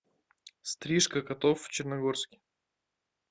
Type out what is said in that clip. стрижка котов в черногорске